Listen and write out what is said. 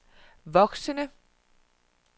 voksende